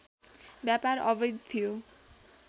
व्यापार अवैध थियो